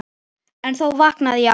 En þá vaknaði ég alltaf.